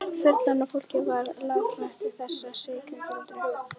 Fullorðna fólkið var lafhrætt við þessa slysagildru.